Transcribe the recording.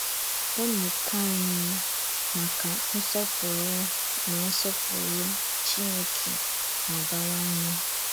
Ọ̀mííkò ányị màkà nsọ̀pùrù na nsọ̀pùrù Chìnékè na-abàwànyè.